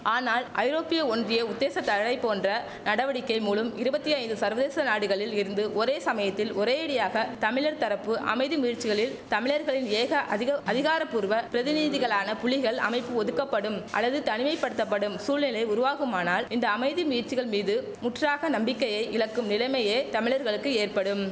ஆனால் ஐரோப்பிய ஒன்றிய உத்தேச தழை போன்ற நடவடிக்கை மூலும் இருவத்தி ஐந்து சர்வதேச நாடுகளில் இருந்து ஒரே சமயத்தில் ஒரேயடியாக தமிழர் தரப்பு அமைதி முயற்சிகளில் தமிழர்களின் ஏக அதிக அதிகாரபூர்வ பிரதிநிதிகளான புலிகள் அமைப்பு ஒதுக்கப்படும் அல்லது தனிமை படுத்தப்படும் சூழ்நிலை உருவாகுமானால் இந்த அமைதி முயற்சிகள் மீது முற்றாக நம்பிக்கையை இழக்கும் நிலமையே தமிழர்களுக்கு ஏற்படும்